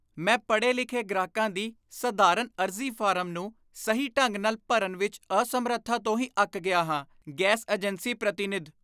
ਮੈਂ ਪੜ੍ਹੇ ਲਿਖੇ ਗ੍ਰਾਹਕਾਂ ਦੀ ਸਧਾਰਨ ਅਰਜ਼ੀ ਫਾਰਮ ਨੂੰ ਸਹੀ ਢੰਗ ਨਾਲ ਭਰਨ ਵਿੱਚ ਅਸਮਰੱਥਾ ਤੋਂ ਹੀ ਅੱਕ ਗਿਆ ਹਾਂ ਗੈਸ ਏਜੰਸੀ ਪ੍ਰਤੀਨਿਧ